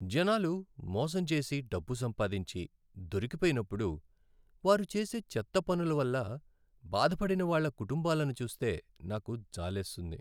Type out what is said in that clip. జనాలు మోసం చేసి డబ్బు సంపాదించి, దొరికిపోయినప్పుడు, వారు చేసే చెత్త పనుల వల్ల బాధపడిన వాళ్ళ కుటుంబాలను చూస్తే నాకు జాలేస్తుంది.